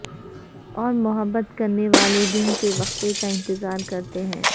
اور محبت کرنے والے دن کے وقفے کا انتظار کرتے ہیں